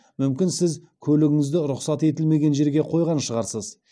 мүмкін сіз көлігіңізді рұқсат етілмеген жерге қойған шығарсыз